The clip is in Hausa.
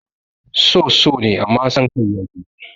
So so ne amman san kai ya fi